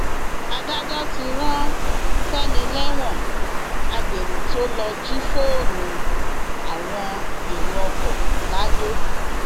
adájọ ti rán fẹmi lẹwọn agbéró tó lọọ jí fóònù àwọn ẹrọ ọkọ lado